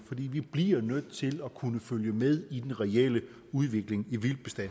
vi bliver nødt til at kunne følge med i den reelle udvikling